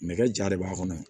Nɛgɛ ja de b'a kɔnɔ